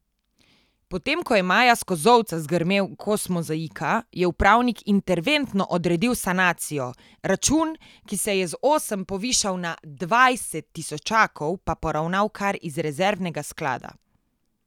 Potem ko je maja s Kozolca zgrmel kos mozaika, je upravnik interventno odredil sanacijo, račun, ki se je z osem povišal na dvajset tisočakov, pa poravnal kar iz rezervnega sklada.